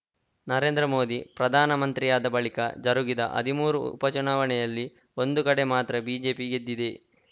ನರೇಂದ್ರ ಮೋದಿ ಪ್ರಧಾನಮಂತ್ರಿಯಾದ ಬಳಿಕ ಜರುಗಿದ ಹದಿಮೂರು ಉಪ ಚುನಾವಣೆಯಲ್ಲಿ ಒಂದು ಕಡೆ ಮಾತ್ರ ಬಿಜೆಪಿ ಗೆದ್ದಿದೆ